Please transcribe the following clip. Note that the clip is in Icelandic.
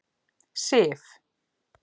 Sif